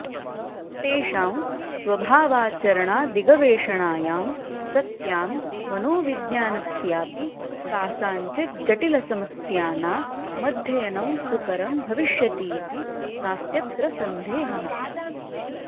तेषां स्वभावाचरणादिगवेषणायां सत्यां मनोविज्ञानस्याऽपि कासाञ्चिज्जटिलसमस्यानामध्ययनं सुकरं भविष्यतीति नास्त्यत्र सन्देहः